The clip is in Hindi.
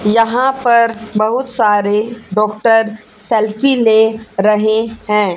यहां पर बहुत सारे डॉक्टर सेल्फी ले रहे हैं।